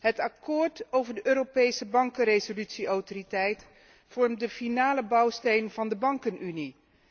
Het akkoord over de Europese bankenresolutie autoriteit vormt de finale bouwsteen van de bankenunie.